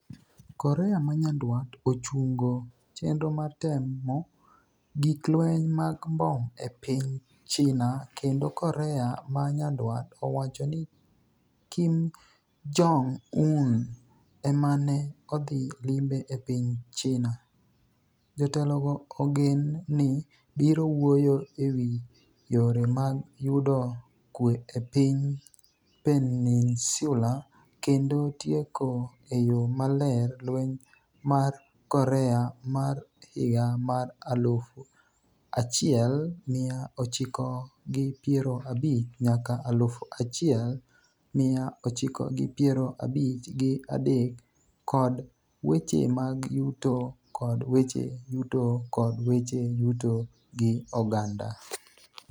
Korea ma nyandwat ochungo chenro mar temo gik lweny mag mbom e piny China kendo Korea ma nyandwat owacho ni Kim Jong-un ema ne odhi limbe e piny China . jotelogo ogen ni biro wuoyo ewi yore mag yudo kue e piny Peninsula kendo tieko e yo maler Lweny mar Korea mar higa mar aluf achiel miya ochiko gi piero abich nyaka aluf achiel miya ochiko gi piero abich gi adek kod weche mag yuto kod weche yuto kod weche yuto gi oganda